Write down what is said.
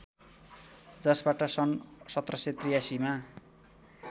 जसबाट सन् १७८३ मा